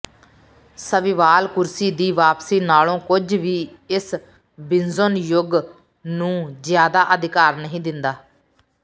swivel ਕੁਰਸੀ ਦੀ ਵਾਪਸੀ ਨਾਲੋਂ ਕੁਝ ਵੀ ਇਸ ਬਿਜੁਂਨ ਯੁੱਗ ਨੂੰ ਜ਼ਿਆਦਾ ਅਧਿਕਾਰ ਨਹੀਂ ਦਿੰਦਾ